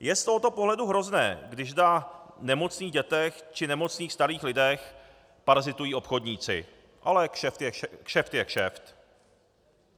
Je z tohoto pohledu hrozné, když na nemocných dětech či nemocných starých lidech parazitují obchodníci, ale kšeft je kšeft.